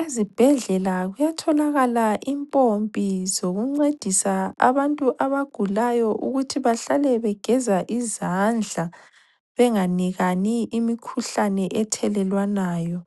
Ezibhedlela kuyatholakala impompi zokuncedisa abantu abagulayo ukuthi bahlale begeza izandla, benganikani imikhuhlane ethelelwanayo,